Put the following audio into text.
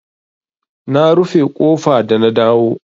Na rufe ƙofa da na dawo.